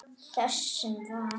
Þess sem var.